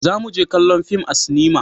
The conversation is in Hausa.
za mu je kallon fim a sinima